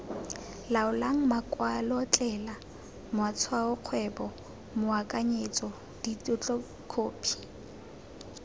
laolang makwalotetla matshwaokgwebo moakanyetso ditetlokhophi